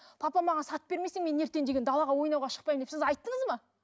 папа маған сатып бермесең мен ертең деген далаға ойнауға шықпаймын деп сіз айттыңыз ба